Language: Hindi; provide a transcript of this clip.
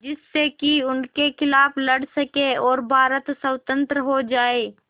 जिससे कि उनके खिलाफ़ लड़ सकें और भारत स्वतंत्र हो जाये